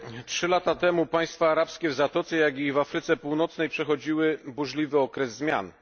Trzy lata temu państwa arabskie w Zatoce, jak i w Afryce Północnej, przechodziły burzliwy okres zmian.